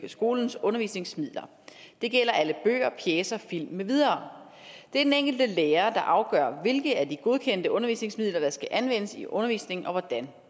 skolens undervisningsmidler det gælder alle bøger pjecer film med videre det er den enkelte lærer der afgør hvilke af de godkendte undervisningsmidler der skal anvendes i undervisningen og hvordan